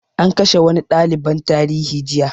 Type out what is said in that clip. An kashe wani ɗaliban tarihi jiya